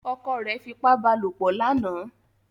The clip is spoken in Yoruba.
Ọkọ rẹ fipá bá lopọ̀ lánàá.